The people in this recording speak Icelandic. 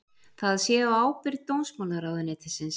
Það sé á ábyrgð dómsmálaráðuneytisins